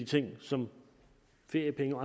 ting som feriepenge